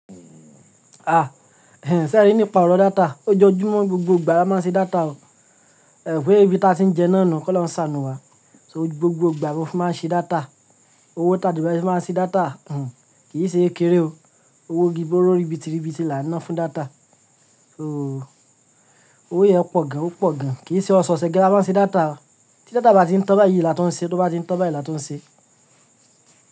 Ṣé ẹ rí nípa ọ̀rọ̀ data? Ójoojúmọ́ ni gbogbo ìgbà ni a má ń ṣe data o. Ẹ̀ mo wipe ibintí a ti ń jẹun náà nu, k'olohun sàánù wa. So gbogbo ìgbà ni mo fi má ń ṣe data. Owó ta de fi má ń ṣe data. Kì í ṣe kékeré o. Owó gígbóró ribitiribiti là ń ná fún data. So owó yẹn pọ̀ gan, ó pọ̀ gan. Kì í ṣe ọ̀ṣọ̀ose gan la má ń ṣe data. Tí data bá ti ń tan báyìí là tuń n ṣe, tó bá ti ń tan báyìí là tun n ṣe.